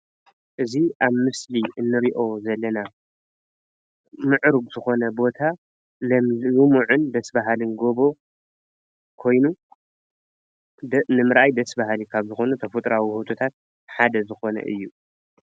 እዚ ኣብ ምስሊ እንሪኦ ዘለና ምዕሩግ ዝኾነ ቦታ ለምሊሙ ለሚዑን ደስ በሃልን ጎቦን ኾይኑ ንምርኣይ ደስ ባሃሊ ካብ ዝኮኑ ተፈጥሮኣዊ ውህብቶታት ሓደ ዝኮነ እዩ።